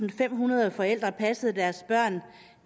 og femhundrede forældre der passede deres børn